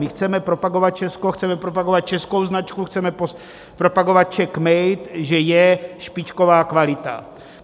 My chceme propagovat Česko, chceme propagovat českou značku, chceme propagovat CZECH MADE, že je špičková kvalita.